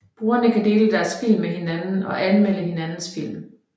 Brugerne kan dele deres film med hinanden og anmelde hinandens film